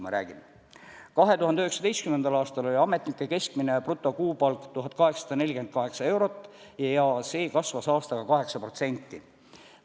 2019. aastal oli ametnike keskmine brutokuupalk 1848 eurot ja see kasvas aastaga 8%.